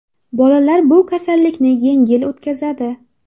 Bolalar bu kasallikni yengil o‘tkazadi.